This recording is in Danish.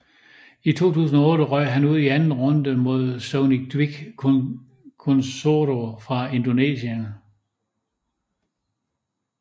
I 2008 røg han ud i anden runde mod Sony Dwi Kuncoro fra Indonesien